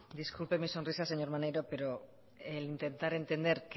disculpe mi sonrisa señor maneiro pero el intentar entender